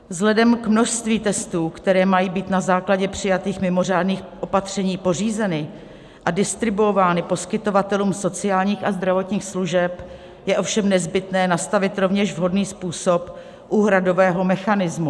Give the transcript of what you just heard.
Vzhledem k množství testů, které mají být na základě přijatých mimořádných opatření pořízeny a distribuovány poskytovatelům sociálních a zdravotních služeb, je ovšem nezbytné nastavit rovněž vhodný způsob úhradového mechanismu.